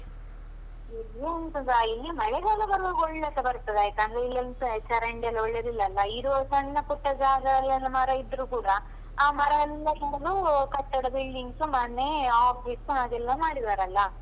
ಇಲ್ಲಿ ಎಂತದಾ, ಈ ಮಳೆಗಾಲ ಬರುವಾಗ ಒಳ್ಳೆಸ ಬರ್ತದೆ ಆಯ್ತಾ, ಚರಂಡಿ ಎಲ್ಲ ಒಳ್ಳೆದಿಲ್ಲ ಅಲ್ಲ, ಇರುವ ಸಣ್ಣ ಪುಟ್ಟ ಜಾಗದಲ್ಲೆಲ್ಲ ಮರ ಇದ್ರೂ ಕೂಡ ಆ ಮರಯೆಲ್ಲ ಕಡ್ದು ಕಟ್ಟಡ buildings , ಮನೆ, office ಹಾಗೆಲ್ಲ ಮಾಡಿದರಲ್ಲ.